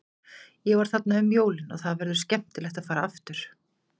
Ég var þarna um jólin og það verður skemmtilegt að fara aftur.